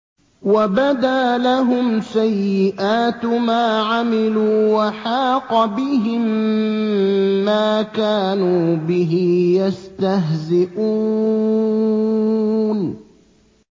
وَبَدَا لَهُمْ سَيِّئَاتُ مَا عَمِلُوا وَحَاقَ بِهِم مَّا كَانُوا بِهِ يَسْتَهْزِئُونَ